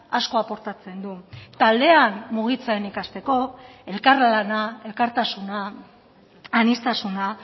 asko aportatzen du taldean mugitzen ikasteko elkarlana elkartasuna aniztasuna